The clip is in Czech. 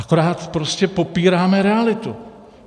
Akorát prostě popíráme realitu.